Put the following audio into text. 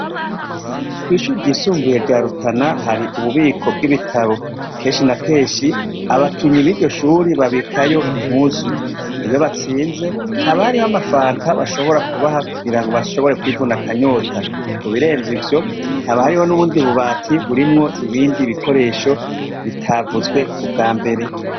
kwishure ryisumbuye rya rutana hari ububiko bw'ibitabo kenshi na kenshi abakinyi biryo shure babikayo impuzu iyo batsinze haba hariho amafanta bashobora kubaha kugira ngo bashobore kwivuna akanyota, ku birenzo ivyo ntabahariho n'ubundi bubati burimwo ibindi bikoresho bitavuzwe ubwa mbere.